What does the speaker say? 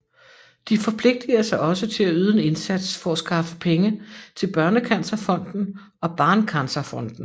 De forpligter sig også til at yde en indsats for at skaffe penge til Børnecancerfonden og Barncancerfonden